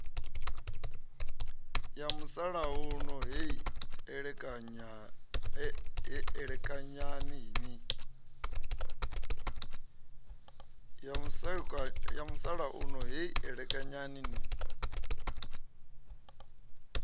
ya musalauno heyi elekanyani ni